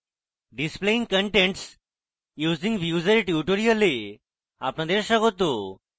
displaying contents using views এর tutorial আপনাদের স্বাগত